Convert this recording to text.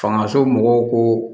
Fanga somɔgɔw ko